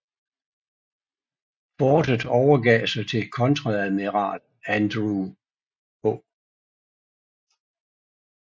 Fortet overgav sig til kontreadmiral Andrew H